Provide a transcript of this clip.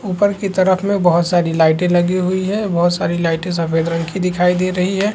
ऊपर की तरफ में बहुत सारी लाइटें लगी हुई है बहुत सारी लाइटें सफेद रंग की दिखाई दे रही है।